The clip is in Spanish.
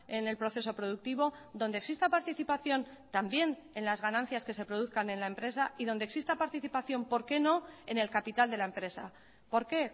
en el proceso productivo donde exista participación también en las ganancias que se produzcan en la empresa y donde exista participación por qué no en el capital de la empresa por qué